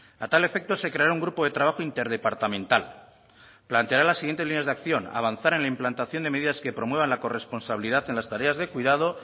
a tal efecto se creará un grupo de trabajo interdepartamental planteará las siguientes líneas de acción avanzar en la implantación de medidas que promuevan la corresponsabilidad en las tareas de cuidado